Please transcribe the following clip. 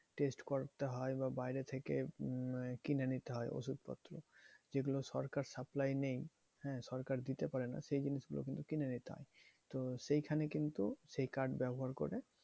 Test করতে হয় বা বাইরে থেকে কিনে নিতে হয় ওষুধপত্র। যেগুলো সরকার supply নেই। হ্যাঁ? সরকার দিতে পারে না। সেই জিনিসগুলো কিন্তু কিনে নিতে হয়। তো সেখানে কিন্তু সেই card ব্যবহার করে